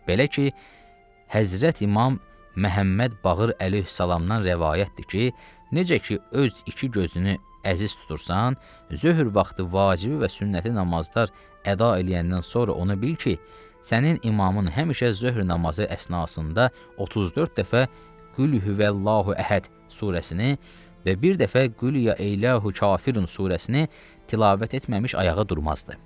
Belə ki, Həzrət İmam Məhəmməd Bağır əleyhissalamdan rəvayətdir ki, necə ki öz iki gözünü əziz tutursan, zöhr vaxtı vacibi və sünnəti namazlar əda eləyəndən sonra ona bil ki, sənin imamın həmişə zöhr namazı əsnasında 34 dəfə Qulhuvəllahü Əhəd surəsini və bir dəfə Qul Ya Eyyuhəl Kafirun surəsini tilavət etməmiş ayağa durmazdı.